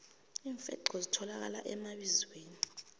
iimfenqho zitholakala emabizweni